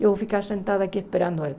Eu vou ficar sentada aqui esperando ela.